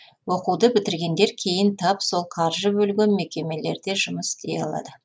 оқуды бітіргендер кейін тап сол қаржы бөлген мекемелерде жұмыс істей алады